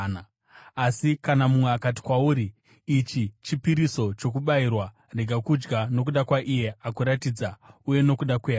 Asi kana mumwe akati kwauri, “Ichi chipiriso chakabayirwa,” rega kudya, nokuda kwaiye akuratidza, uye nokuda kwehana,